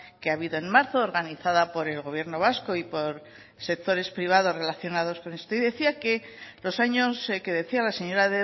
que ha habido en marzo organizado por el gobierno vasco y por sectores privadores relacionados con esto y usted decía los años que decía la señora